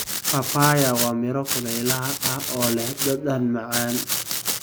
Papaya waa miro kulaylaha ah oo leh dhadhan macaan.